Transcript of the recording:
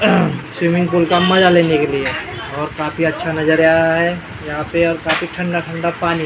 Swimming pool का मज़ा लेने के लिए और काफी अच्छा नजरीया है यहाँ पे और काफी ठंडा ठंडा पानी है ।